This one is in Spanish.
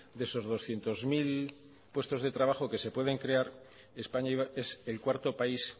de esos doscientos mil puestos de trabajo que se pueden crear españa es el cuarto país